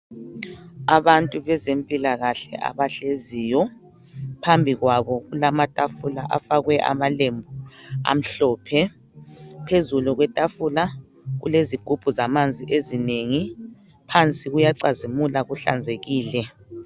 Abantu bezempilakahle abahleziyo. Phambi kwabo kulamatafula afakwe amalembu amhlophe. Phezu kwetafula kulezigubhu zamanzi ezinengi. Phansi kuyacazimula kuhlanzekile.